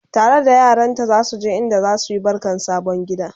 tare da yaranta zasu je inda zasuyi barkan sabon gida